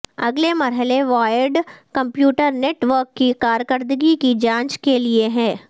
اگلے مرحلے wired computer network کی کارکردگی کی جانچ کے لئے ہے